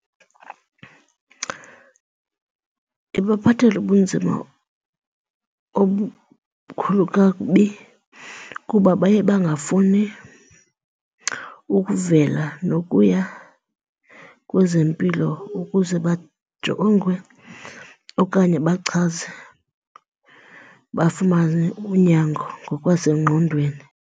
Ibaphathela ubunzima obukhulu kakubi kuba baye bangafuni ukuvela nokuya kwezempilo ukuze bajongwe okanye bachaze bafumane unyango ngokwasengqondweni.